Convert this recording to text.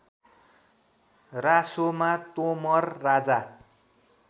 रासोमा Tomar Raja